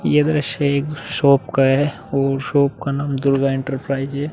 ये दृश्य एक शोप का है ओर शॉप का नाम दुर्गा एंटरप्राइज हे ।